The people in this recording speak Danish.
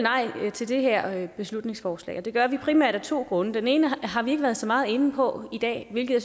til det her beslutningsforslag og det gør vi primært af to grunde den ene har vi ikke været så meget inde på i dag hvilket